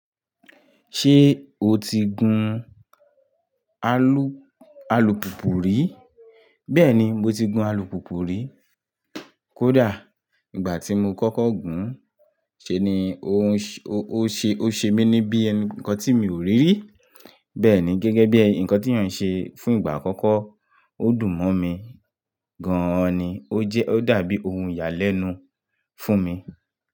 Ṣé o ti gun alùpùpù rí? Bẹ́ẹ̀ni, mo ti gun alùpùpù rí. Kódà ìgbà tí mo kọ́kọ́ gùn ún, ṣe ni o ṣe mí ní bí ǹkan tí mi ò rí rí. Bẹ́ẹ̀ ni, gẹ́gẹ́ bí ǹkan tí èèyàn ń ṣe fún ìgbà àkọ́kọ́, ó dùn mọ́ mi gan-an ni. Ó dàbí ohun ìyàlẹ́nu fún mi.